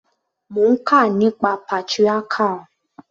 Mo ń kà nípa patriarchal.